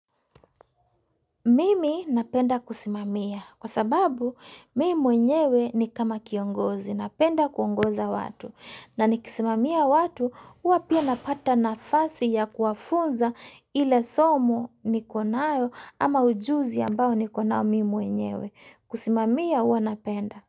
Mimi napenda kusimamia kwa sababu mimi mwenyewe ni kama kiongozi napenda kuongoza watu na nikisimamia watu huwa pia napata nafasi ya kuwafunza ile somo niko nayo ama ujuzi ambao niko nayo mimi mwenyewe kusimamia huwa napenda.